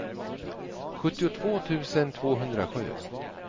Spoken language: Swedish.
sjuttiotvå tusen tvåhundrasju